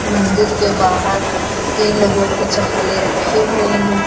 मंदिर के बाहर तीन लोगों की चप्पलें रखी हुई है।